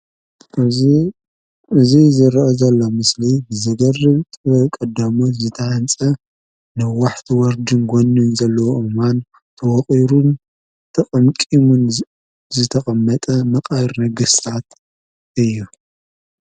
እዚ ዝረአ ዘሎ ምስሊ ዝገርም ጥበብ ቀዳሞት ዝተሃነፀ ነዋሕቲ ወርድን ጎኒን ዘለዎ ኣአዋም ድማ ተወቒሩን ተቀምቂሙን ዝተቀመጠ መቃብር ነገስታት እዩ።